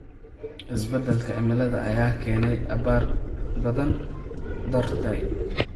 Isbeddelka cimilada ayaa keenaya abaar daba dheeraatay.